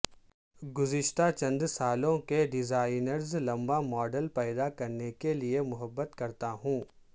گزشتہ چند سالوں کے ڈیزائنرز لمبا ماڈل پیدا کرنے کے لئے محبت کرتا ہوں